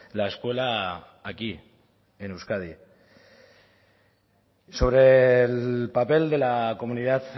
la escuela aquí en euskadi y sobre el papel de la comunidad